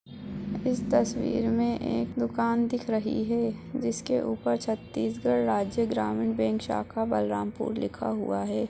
इस तस्वीर में एक दूकान दिख रही है जिसके ऊपर छत्तीसगढ़ राज्य ग्रामीण बैंक शाखा बलरामपुर लिखा हुआ हैं।